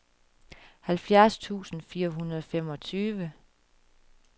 halvfjerds tusind fire hundrede og femogtyve